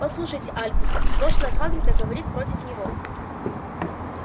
послушайте альбус прошлое хагрида говорит против него